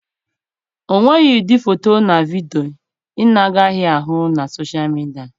O nweghị ụdị foto na vidio ị na-agaghị ahụ na soshal midia.